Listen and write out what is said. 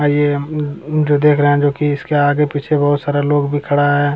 और ये उम्म जो देख रहे हैं जो की इसके आगे पीछे बहुत सारा लोग भी खड़ा है |